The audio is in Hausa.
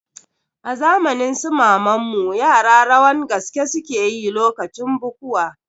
A zamanin su maman mu yara rawan gaske suke yi lokacin bukuwa